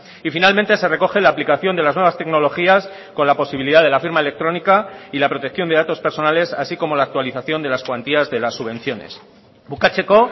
y finalmente se recoge la aplicación de las nuevas tecnologías con la posibilidad de la firma electrónica y la protección de datos personales así como la actualización de las cuantías de las subvenciones bukatzeko